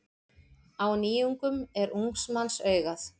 Á nýjungum er ungs manns augað.